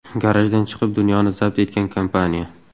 Garajdan chiqib, dunyoni zabt etgan kompaniya.